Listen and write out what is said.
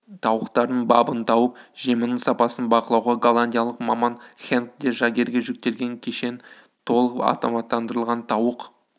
тауықтардың бабын тауып жемінің сапасын бақылау голландиялық маман хенк де жагерге жүктелген кешен толық автоматтандырылған тауық